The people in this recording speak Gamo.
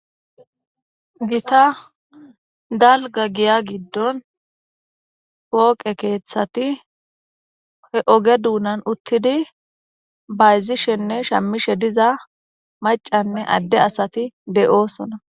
gita dalga giya giddon pooqe keeththati he oge duunan uttidi bayzishenne shamishe diza macanne adde asati de'oosona